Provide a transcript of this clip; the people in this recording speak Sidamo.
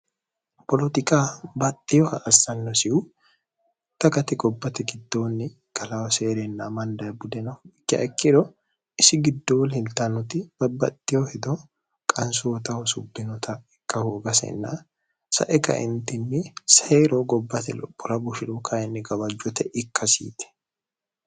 poloxiqa baxxiho ha assannosihu takati gobbate gittoonni kalawoseerenna mandae budeno ikkaikkiro isi giddooli hiltannoti babbaxxiho hido qansootaho subbinota ikkahuugasenna sae gaintinni seiro gobbate lophora bushiru kayinni gabajjote ikkasiiti